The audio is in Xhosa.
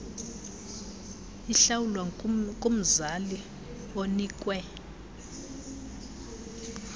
ihlawulwa kumzali onikwe